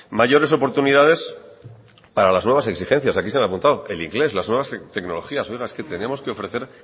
mayores oportunidades para las nuevas exigencias aquí se han apuntado el inglés las nuevas tecnologías oiga es que tenemos que ofrecer